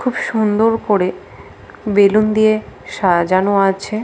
খুব সুন্দর করে বেলুন দিয়ে সাজানো আছে ।